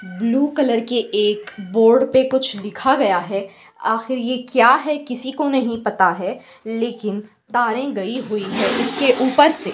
Blue colour के एक board पे कुछ लिखा गया है। आखिर ये क्या है किसी को नहीं पता है लेकिन तारे गई हुई हैं इसके ऊपर से।